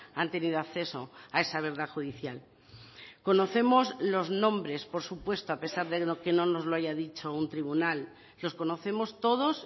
han tenido acceso a esa verdad judicial conocemos los nombres por supuesto a pesar de que no nos lo haya dicho un tribunal los conocemos todos